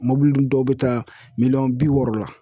Mɔbili dun dɔw be taa miliyɔn bi wɔɔrɔ la